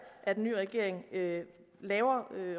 at en ny regering laver laver